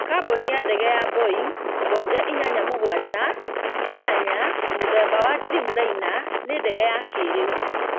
Kambuni ya ndege ya Boeing 787-8 mũthemba ya Dreamliner nĩ ndege ya kĩrĩu